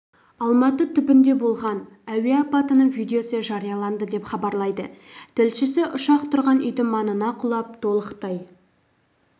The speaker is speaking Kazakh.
алматы түбінде болған әуе апатының видеосы жарияланды деп хабарлайды тілшісі ұшақ тұрғын үйдің маңына құлап толықтай